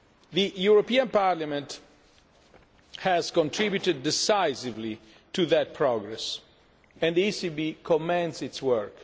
The European Parliament has contributed decisively to that progress, and the ECB commends its work.